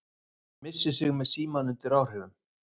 Missir sig með símann undir áhrifum